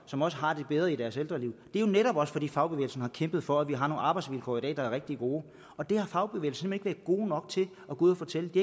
som også har det bedre i deres ældreliv det er jo netop også fordi fagbevægelsen har kæmpet for at vi har nogle arbejdsvilkår i dag der er rigtig gode og det har fagbevægelsen ikke været god nok til at gå ud og fortælle de